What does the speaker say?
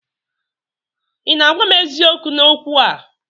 Ị na-agwa m eziokwu n'okwu a?